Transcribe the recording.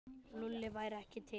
Lúlli væri ekki til.